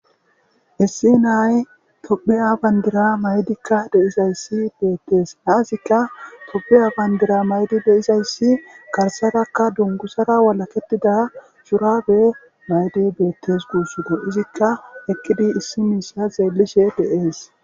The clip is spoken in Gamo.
issi nay topiya bandira maydikka deizayssi beettees naazikka topiya bandira maydi beizayssi garsarakka dungusara walaketida curabe maydi beettes guussodo izikka ekkidi issi miissa zeellishe deees